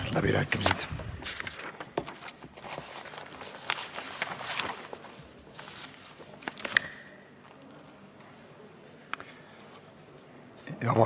Täitsa ausalt!